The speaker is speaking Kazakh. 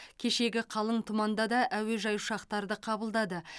кешегі қалың тұманда да әуежай ұшақтарды қабылдады